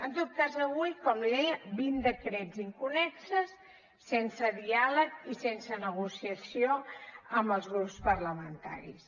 en tot cas avui com li deia vint decrets inconnexos sense diàleg i sense negociació amb els grups parlamentaris